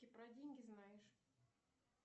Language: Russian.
про деньги знаешь